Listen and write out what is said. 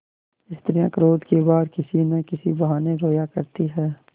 स्त्रियॉँ क्रोध के बाद किसी न किसी बहाने रोया करती हैं